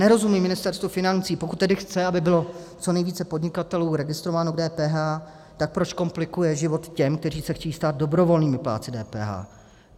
Nerozumím Ministerstvu financí, pokud tedy chce, aby bylo co nejvíce podnikatelů registrováno v DPH, tak proč komplikuje život těm, kteří se chtějí stát dobrovolnými plátci DPH.